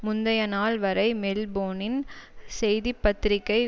முந்திய நாள் வரை மெல்போனின் செய்திபத்திரிகை